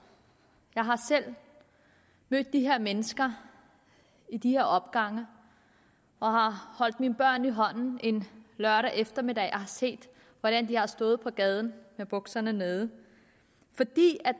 jeg har selv mødt de her mennesker i opgangene og har holdt mine børn i hånden en lørdag eftermiddag og har set hvordan de har stået på gaden med bukserne nede fordi